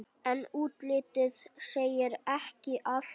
En útlitið segir ekki allt.